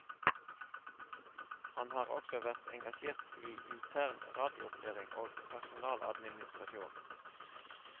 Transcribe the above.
Han har også vært engasjert i intern radioopplæring og personaladministrasjon.